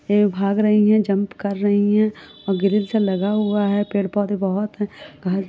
यह भाग रहीं हैं जंप कर रहीं हैं और ग्रिल से लगा हुआ है। पेड़-पौधे बोहोत हैं। --